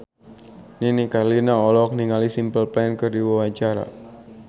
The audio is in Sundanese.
Nini Carlina olohok ningali Simple Plan keur diwawancara